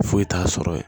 Foyi t'a sɔrɔ ye